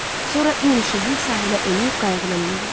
Sonra İyun Şehi sahilə enib qayıqına mindi.